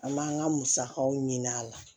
An m'an ka musakaw ɲini a la